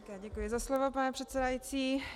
Děkuji za slovo, pane předsedající.